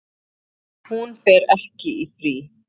Hún fer ekki í frí.